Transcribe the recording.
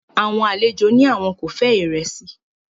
Àwọn àlejò ní àwọn kò fẹ́ràn ìrẹsì